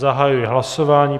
Zahajuji hlasování.